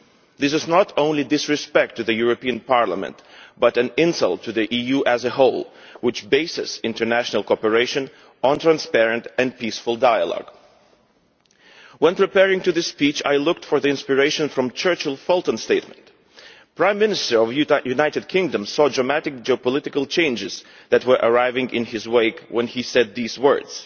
This is not only disrespect to the European Parliament but an insult to the EU as a whole, which bases international cooperation on transparent and peaceful dialogue. When preparing for this speech I looked for inspiration from Churchill's Fulton speech. The Prime Minister of the United Kingdom saw the dramatic geopolitical changes that were arriving in his wake when he said these words